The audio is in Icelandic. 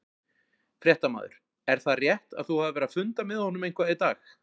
Fréttamaður: Er það rétt að þú hafir verið að funda með honum eitthvað í dag?